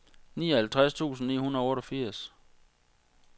nioghalvtreds tusind ni hundrede og otteogfirs